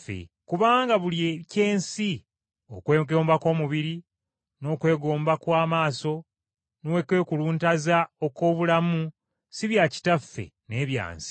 Kubanga buli eky’ensi: okwegomba kw’omubiri, n’okwegomba kw’amaaso, n’okwekuluntaza okw’obulamu, si bya Kitaffe, naye bya nsi.